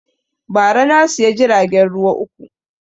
Ba ra na siya jiragen ruwa uku